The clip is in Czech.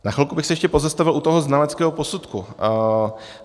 Na chvilku bych se ještě pozastavil u toho znaleckého posudku.